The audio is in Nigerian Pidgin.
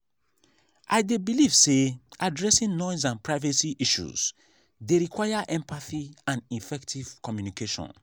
i dey believe say addressing noise and privacy issues dey require empathy and effective communication.